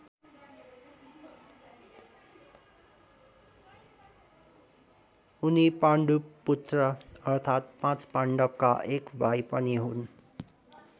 उनी पाण्डुपुत्र अर्थात पाँच पावण्डका एक भाइ पनि हुन्।